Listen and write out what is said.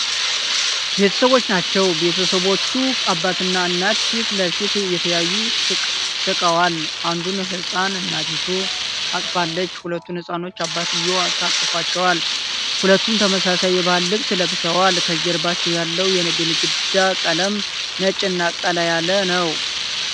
ቤተሰቦች ናቸው። ቤተሰቦቹ አባትና እናት ፊት ለፊት እየተያዩ ስቀዋል። አንዱን ህፃን እናቲቱ አቅፋለች። ሁለቱን ህፃናቶች አባትየው ታቅፏቸዋል። ሁሉም ተመሳሳይ የባህል ልብስ ለብሰዋል። ከጀርባ ያለው የግድግዳው ቀለም ነጭና ቀላ ያለ ነው።